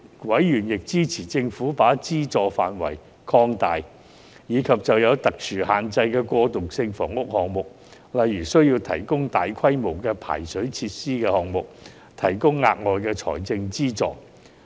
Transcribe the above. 委員亦支持政府把資助範圍擴大，以及就有特殊限制的過渡性房屋項目，例如需要提供大規模排水設施的項目，提供額外財政資助。